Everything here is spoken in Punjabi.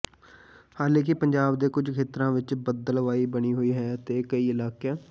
ਹਾਲਾਂਕਿ ਪੰਜਾਬ ਦੇ ਕੁਝ ਖੇਤਰਾਂ ਵਿਚ ਬੱਦਲਵਾਈ ਬਣੀ ਹੋਈ ਹੈ ਤੇ ਕਈ ਇਲਾਕਿਆਂ